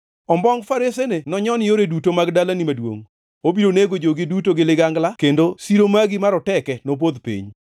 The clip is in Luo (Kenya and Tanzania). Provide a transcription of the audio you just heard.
Ombongʼ faresene nonyon yore duto mag dalani maduongʼ, obiro nego jogi duto gi ligangla, kendo siro magi maroteke nopodh piny.